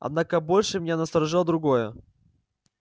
однако больше меня насторожило другое